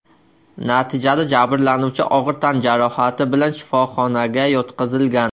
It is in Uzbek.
Natijada jabrlanuvchi og‘ir tan jarohati bilan shifoxonaga yotqizilgan.